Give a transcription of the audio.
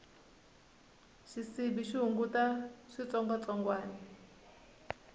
xisibi xi hunguta switsongwatsongwani